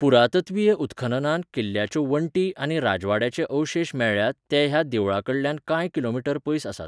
पुरातत्वीय उत्खननांत किल्ल्याच्यो वण्टी आनी राजवाड्याचे अवशेश मेळ्ळ्यात ते ह्या देवळाकडल्यान कांय किलोमीटर पयस आसात.